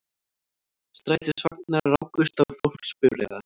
Strætisvagnar rákust á fólksbifreiðar